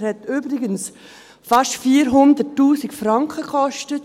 Er hat übrigens fast 400 000 Franken gekostet.